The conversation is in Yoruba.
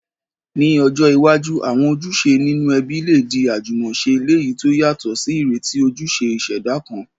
Ní ọjọ́ iwájú, àwọn ojúṣe nínú ẹbí lè di àjúmọ̀se, léyìí to yàtò sí ìrètí ojúṣe ìṣẹ̀dá kan.